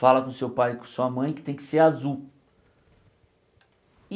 Fala com seu pai e com sua mãe que tem que ser azul.